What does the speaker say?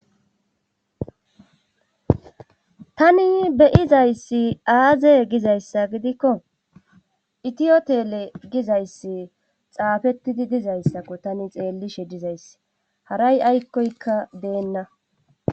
tani be'izayssi aaze gizayssa gidikko itiyotele gizayssi xaafettidi dizayssakko tani xeellishe dizayss haray aykkoykka deenna